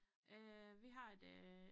Øh vi har et øh